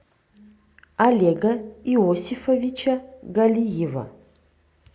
олега иосифовича галиева